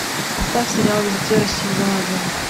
поставь сериал визитеры сезон один